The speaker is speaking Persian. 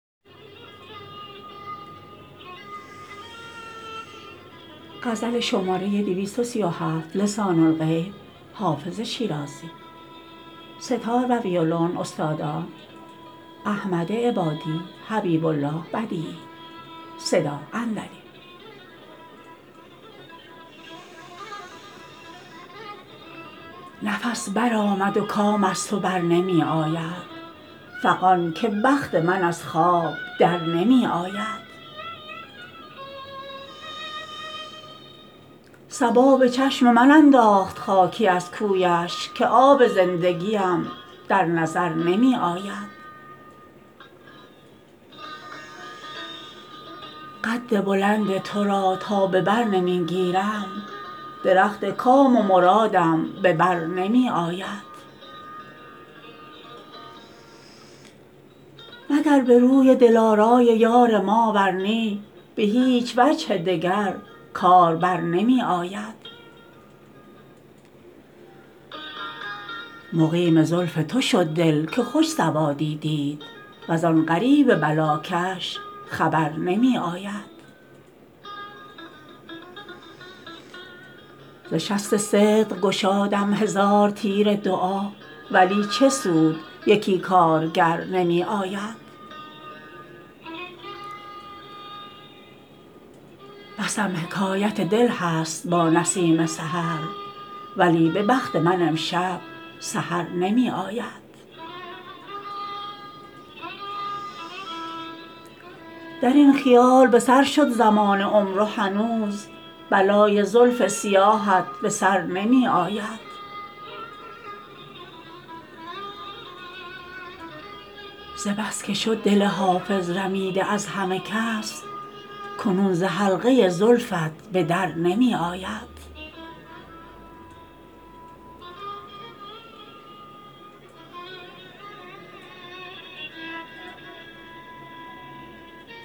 نفس برآمد و کام از تو بر نمی آید فغان که بخت من از خواب در نمی آید صبا به چشم من انداخت خاکی از کویش که آب زندگیم در نظر نمی آید قد بلند تو را تا به بر نمی گیرم درخت کام و مرادم به بر نمی آید مگر به روی دلارای یار ما ور نی به هیچ وجه دگر کار بر نمی آید مقیم زلف تو شد دل که خوش سوادی دید وز آن غریب بلاکش خبر نمی آید ز شست صدق گشادم هزار تیر دعا ولی چه سود یکی کارگر نمی آید بسم حکایت دل هست با نسیم سحر ولی به بخت من امشب سحر نمی آید در این خیال به سر شد زمان عمر و هنوز بلای زلف سیاهت به سر نمی آید ز بس که شد دل حافظ رمیده از همه کس کنون ز حلقه زلفت به در نمی آید